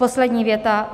Poslední věta.